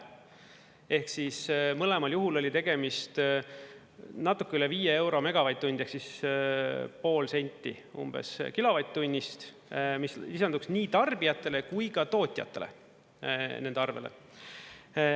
Ehk siis mõlemal juhul oli tegemist natuke üle viie euro megavatt-tund ehk pool senti umbes kilovatt-tunnist, mis lisanduks nii tarbijatele kui tootjatele nende arvele.